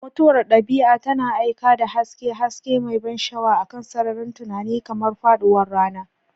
Mutuwar dabi'a tana aika da haske, haske mai ban sha'awa akan sararin tunani, kamar faɗuwar rana.